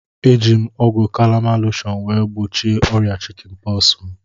Eji m ọgwụ kalamain loshọn wee gbochie ọrịa chikin pọksi m